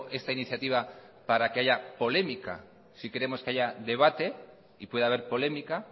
esta iniciativa para que haya polémica sí queremos que haya debate y puede haber polémica